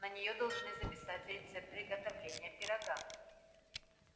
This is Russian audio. на неё должны записать рецепт приготовления пирога